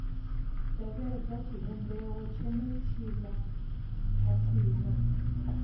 tevhedza tshivhumbeo tshenetshiḽa khathihi na